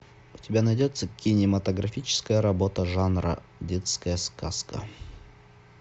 у тебя найдется кинематографическая работа жанра детская сказка